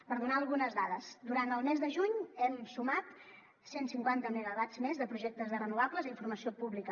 per donar algunes dades durant el mes de juny hem sumat cent cinquanta megawatts més de projectes de renovables a informació pública